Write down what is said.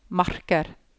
marker